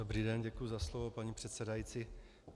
Dobrý den, děkuji za slovo, paní předsedající.